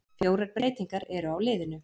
Fjórar breytingar eru á liðinu.